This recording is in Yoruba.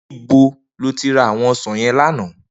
Nibó ló ti rá áwòn òsán yèn làná?